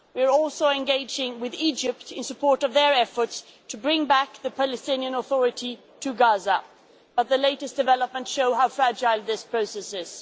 We are also engaging with Egypt in support of their efforts to bring back the Palestinian Authority to Gaza, but the latest developments show how fragile this process is.